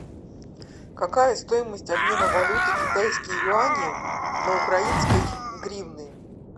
какая стоимость обмена валюты китайские юани на украинской гривны